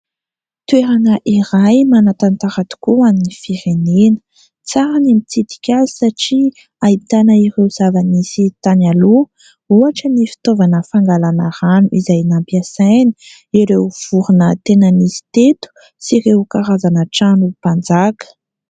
Toerana iray manan-tantara tokoa ho an'ny firenena. Tsara ny mitsidika azy satria ahitana ireo zava-nisy tany aloha. Ohatra ny fitaovana fangalana rano izay nampiasainy, ireo vorona tena nisy teto sy ireo karazana trano mpanjaka.